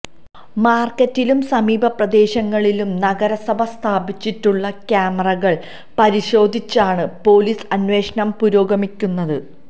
മാര്ക്കറ്റിലും സമീപ പ്രദേശങ്ങളിലും നഗരസഭ സ്ഥാപിച്ചിട്ടുള്ള ക്യാമറകള് പരിശോധിച്ചാണ് പൊലീസ് അന്വേഷണം പുരോഗമിക്കുന്നത്